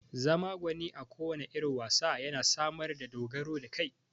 Zama gwani a kowanne irin wasa yana samar da dogaro da kai